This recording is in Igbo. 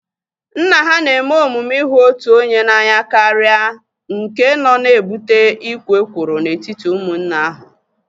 Nna ha na-eme omume ihu otu onye n'anya karịa nke nọ na-ebute ikwo ekworo n'etiti ụmụnne ahu